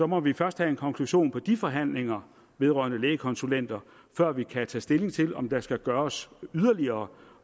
må vi først have en konklusion på de forhandlinger vedrørende lægekonsulenter før vi kan tage stilling til om der skal gøres yderligere